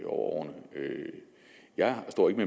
årene jeg står ikke